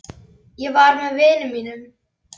Ég var með vinum.